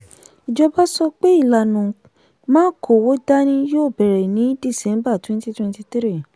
ìjọba sọ pé ìlànà “ma kówó dání” yóò bẹ̀rẹ̀ ní December twenty twenty three.